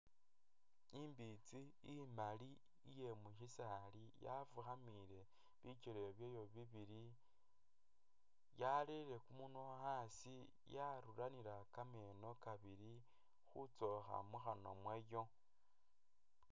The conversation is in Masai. Imbitsi imaali iyemusisali yafukhamile bikele byayo bibili yarere kumunywa asi yasamile kameno kabili khutsokha mukhanywa mwayo